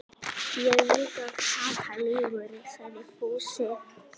Veltur framtíð mín á úrslitum þessa leiks?